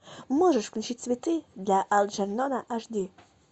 можешь включить цветы для элджернона аш ди